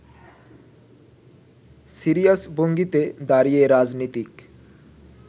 serious ভঙ্গিতে দাঁড়িয়ে- রাজনীতিক